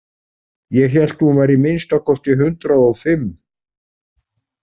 Ég hélt að hún væri að minnsta kosti hundrað og fimm.